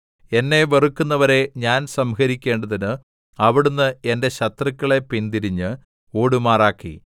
എന്നെ വെറുക്കുന്നവരെ ഞാൻ സംഹരിക്കേണ്ടതിന് അവിടുന്ന് എന്റെ ശത്രുക്കളെ പിന്തിരിഞ്ഞ് ഓടുമാറാക്കി